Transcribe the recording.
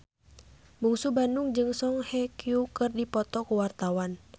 Bungsu Bandung jeung Song Hye Kyo keur dipoto ku wartawan